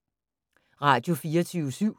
Radio24syv